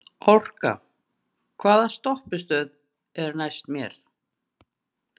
Orka, hvaða stoppistöð er næst mér?